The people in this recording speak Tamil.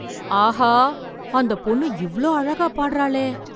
ஆஹா! அந்த பொண்ணு இவ்வளோ அழகா பாட்றாளே!